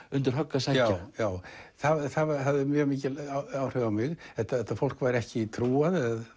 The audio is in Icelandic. undir högg að sækja það hafði mjög mikil áhrif á mig þetta þetta fólk var ekki trúað eða